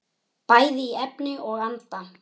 Bæði í efni og anda.